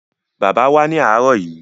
Bàbá wá ní àárọ̀ yìí.